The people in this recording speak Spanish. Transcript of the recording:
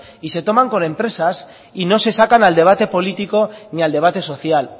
y se toman con empresas y no se sacan al debate político ni al debate social